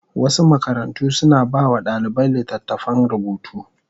Wasu makarantu suna ba wa ɗalibai littattafan rubutu.